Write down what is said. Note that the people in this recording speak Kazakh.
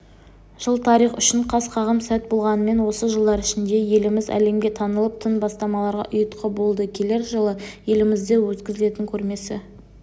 жыл тарих үшін қас-қағым сәт болғанымен осы жылдар ішінде еліміз әлемге танылып тың бастамаларға ұйытқы болды келер жылы елімізде өткізілетін көрмесі